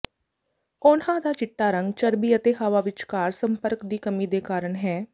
ਉਨ੍ਹਾਂ ਦਾ ਚਿੱਟਾ ਰੰਗ ਚਰਬੀ ਅਤੇ ਹਵਾ ਵਿਚਕਾਰ ਸੰਪਰਕ ਦੀ ਕਮੀ ਦੇ ਕਾਰਨ ਹੈ